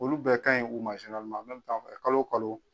Olu bɛɛ ka ɲi u ma kalo kalo